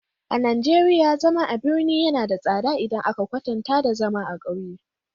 A Najeriya, zama a birane yana da tsada idan aka kwatanta da zama a ƙauye.